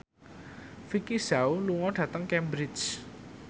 Vicki Zao lunga dhateng Cambridge